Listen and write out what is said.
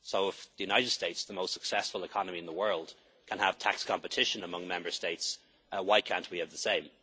So if the United States, the most successful economy in the world, can have tax competition among Member States, why can't we have the same?